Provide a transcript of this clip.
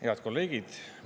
Head kolleegid!